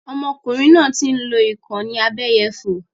Ọmọkùnrin náà ń lò ìkànnì abẹ́yẹfò